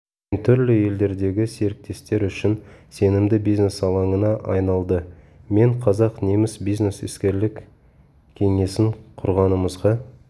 мен түрлі елдердегі серіктестер үшін сенімді бизнес алаңына айналды мен қазақ-неміс бизнес іскерлік кеңесін құрғанымызға